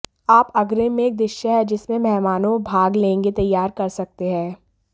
आप अग्रिम में एक दृश्य है जिसमें मेहमानों भाग लेंगे तैयार कर सकते हैं